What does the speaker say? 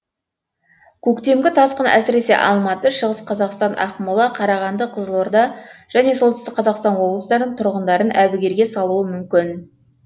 көктемгі тасқын әсіресе алматы шығыс қазақстан ақмола қарағанды қызылорда және солтүстік қазақстан облыстарының тұрғындарын әбігерге салуы мүмкін